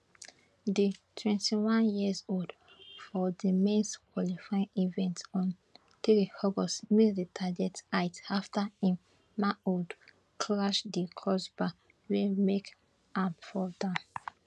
di twenty one years old for di mens qualifying event on three august miss di target height afta im manhood crash di crossbar wey make am fall down